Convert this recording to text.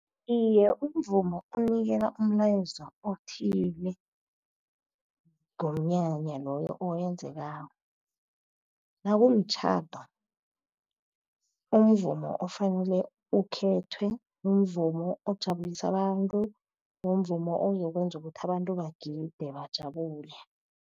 Iye, umvumo unikela umlayezo othile ngomnyanya loyo owenzekako. Nakumtjhado, umvumo ofanele ukhethwe, mvumo ojabulisa abantu, nomvumo ozokwenza ukuthi abantu bagide, bajabule.